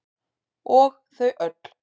Og þau öll.